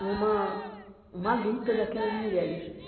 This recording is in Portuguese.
uma uma luta daquelas mulheres.